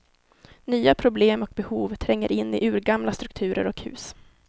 Nya problem och behov tränger in i urgamla strukturer och hus.